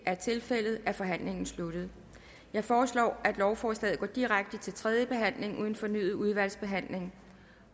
er tilfældet er forhandlingen sluttet jeg foreslår at lovforslaget går direkte til tredje behandling uden fornyet udvalgsbehandling